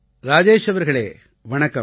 ராஜேஷ் அவர்களே வணக்கம்